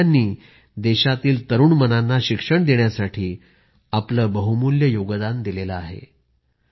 तुम्ही सगळ्यांनी देशातील तरुण मनांना शिक्षण देण्यासाठी आपले बहुमूल्य योगदान दिलेले आहे